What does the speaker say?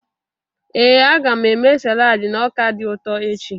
Ee, a ga m eme salad na ọka dị ụtọ echi.